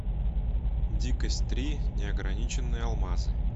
дикость три неограниченные алмазы